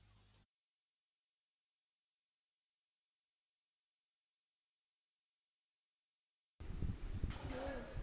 हो